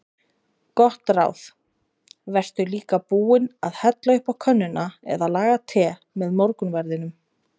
Gott ráð: Vertu líka búinn að hella upp á könnuna eða laga te með morgunverðinum.